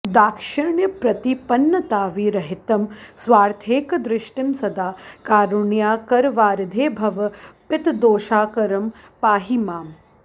दाक्षिण्यप्रतिपन्नताविरहितं स्वार्थैकदृष्टिं सदा कारुण्याकरवारिधे भव पितर्दोषाकरं पाहि माम्